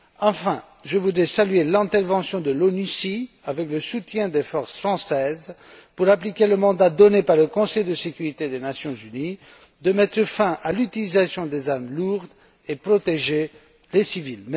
Enfin, je voudrais saluer l'intervention de l'ONUCI, avec le soutien des forces françaises, pour appliquer le mandat donné par le Conseil de sécurité des Nations unies de mettre fin à l'utilisation des armes lourdes et protéger les civils.